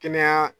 Kɛnɛya